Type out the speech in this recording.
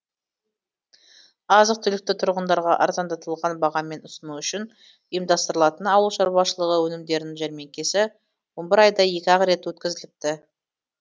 азық түлікті тұрғындарға арзандатылған бағамен ұсыну үшін ұйымдастырылатын ауыл шаруашылығы өнімдерінің жәрмеңкесі он бір айда екі ақ рет өткізіліпті